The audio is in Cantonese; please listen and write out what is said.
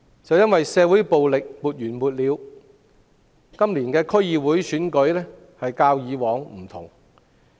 正因為社會暴力沒完沒了，今次區議會選舉與以往有所不同。